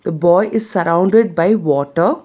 The boy is surrounded by water.